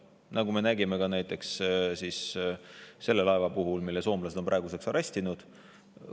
Seda me nägime ka näiteks selle laeva puhul, mille soomlased on praeguseks arestinud.